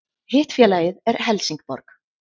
Hitt félagið er Helsingborg